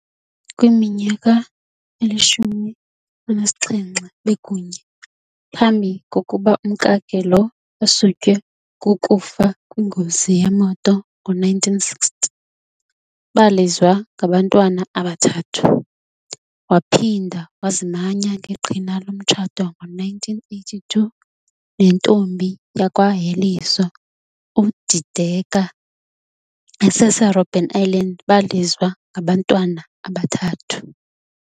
Kwiminyaka eli-17 bekunye, phambi kokuba umkakhe lo asutywe ku kufa kwingozi yemoto ngo-1960, balizwa ngabantwana abathathu. Waphinda wazimanya ngeqhina lomtshato ngo1982 nentombi yakwa Heliso, uDideka esese Roben Island balizwa ngabantwana abathathu.